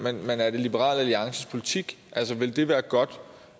men er det liberal alliances politik altså vil det være godt